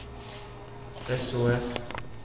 sos